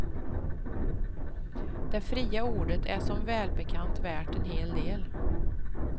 Det fria ordet är som välbekant värt en hel del.